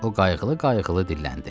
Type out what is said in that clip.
O qayğılı-qayğılı dilləndi.